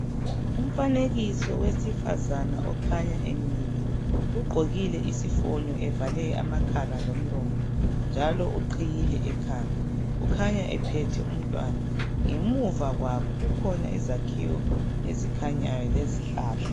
Umfanekiso wesifazana okhanya emile ugqokile isifonyo evale amakhala lomlomo njalo uqhiyile ekhanda, ukhanya ephethe umntwana ngemuva kwabo kukhona izakhiwo ezikhanyayo lezihlahla.